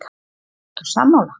Hafsteinn: Ertu sammála?